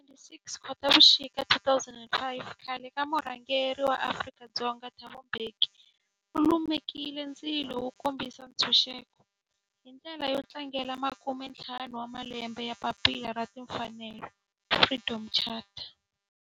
Hi ti 26 Khotavuxika 2005 khale ka murhangeri wa Afrika-Dzonga Thabo Mbeki u lumekile ndzilo wo kombisa ntshuxeko, hi ndlela yo tlangela makume-ntlhanu wa malembe ya papila ra timfanelo, Freedom Charter.